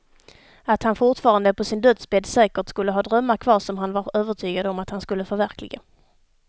Att han fortfarande på sin dödsbädd säkert skulle ha drömmar kvar som han var övertygad om att han skulle förverkliga.